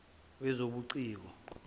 wezobuciko